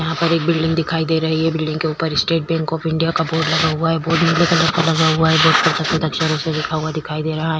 यहाँ पर एक बिलडिंग दिखाई दे रही है बिलडिंग के ऊपर स्टेट बैंक ऑफ़ इंडिया का बोर्ड लगा हुआ है बोर्ड नीले कलर का लगा हुआ है बोर्ड पर सफ़ेद अक्षरों से लिखा हुआ दिखाई दे रहा है।